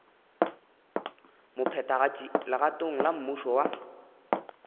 mophethagatši legatong la mmušo wa